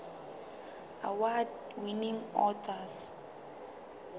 award winning authors